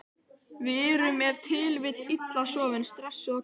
Við erum ef til vill illa sofin, stressuð og kvíðin.